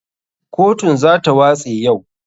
KOtun za ta watse yau.